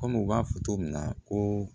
Kɔmi u b'a fɔ cogo min na ko